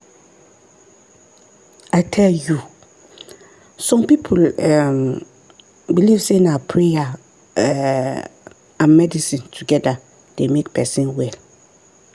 i tell you! some people um believe say na prayer um and medicine together dey make person well.